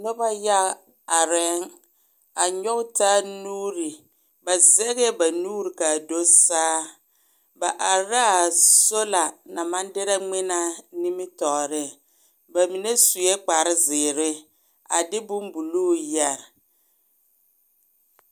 Noba yaga arԑԑŋ, a nyͻge taa nuuri. Ba zeŋԑԑ ba nuuri ka a do saa. Ba are la a sola naŋ maŋ derԑ ŋmenaa nimitͻͻreŋ. Ba mine sue kpare zeere, a de bombuluu yԑre.